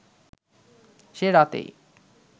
সে রাতেই